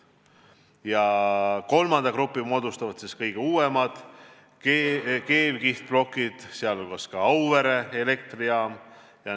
Ja kolmanda grupi moodustavad kõige uuemad, keevkihtplokid, näiteks Auvere elektrijaamas.